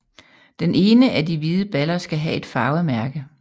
Den ene af de hvide baller skal have et farvet mærke